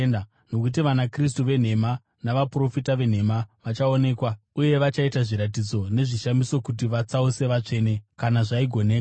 Nokuti vanaKristu venhema navaprofita venhema vachaonekwa uye vachaita zviratidzo nezvishamiso kuti vatsause vatsvene, kana zvaigoneka.